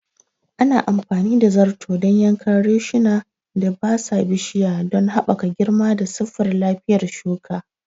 Ana amfani da zarto dan yankan reshuna da datsa bishiya don haɓaka girma da siffar lafiyar shuka.